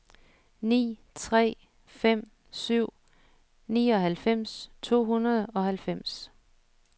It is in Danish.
ni tre fem syv nioghalvfems to hundrede og halvfems